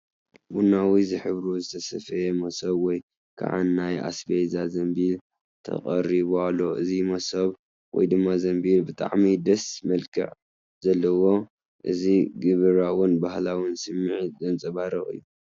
ቡናዊ ዝሕብሩ ዝተሰፍየ መሶብ ወይ ከዓ ናይ ኣስቤዛ ዘምቢል ተቐሪቡ ኣሎ። እዚ መሶብ / ዘምቢል ብጣዕሚ ደስ መልክዕ ዘለዎን እዚ ግብራውን ባህላውን ስምዒት ዘንጸባርቕ እዩ።